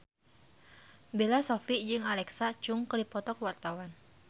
Bella Shofie jeung Alexa Chung keur dipoto ku wartawan